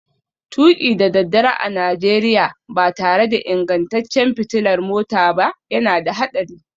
Tuki da daddare a Najeriya ba tare da ingantaccen fitilar mota ba yana da haɗari